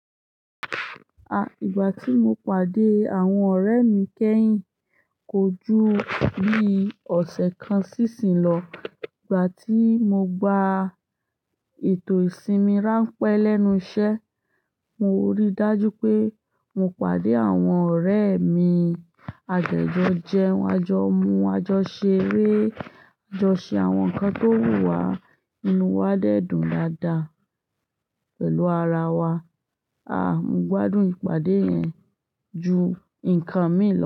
Ah! Ìgbà tí mo pàdé àwọn ọ̀rẹ́ mi kẹ́yìn, kò ju bí ọ̀sẹ̀ kan sí ìsìn lọ. Ìgbà tí mo gba ètò ìsinmi ránpẹ́ lẹ́nu iṣẹ́, mo rí dájú pé mo pàdé àwọn ọ̀rẹ́ mi. A dẹ jọ́ jẹun àjọ, mú àjọ ṣeré, àjọ ṣe àwọn nǹkan tó wù wá. Inú wa dẹ́dùn dáadáa pẹ̀lú ara wa. Ah! Mo gbádùn ìpàdé yẹn ju ǹkan mi lọ.